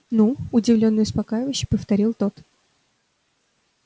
ну удивлённо и успокаивающе повторил тот